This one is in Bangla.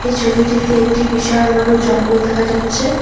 এই ছবিটিতে একটি বিশাল বড় জঙ্গল দেখা যাচ্ছে।